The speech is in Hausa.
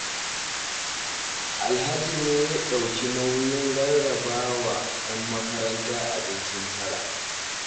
Alhaji ne ya ɗauki nauyin rarraba wa 'yan makaranta abincin tara